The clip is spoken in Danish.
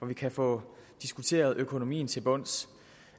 vi kan få diskuteret økonomien til bunds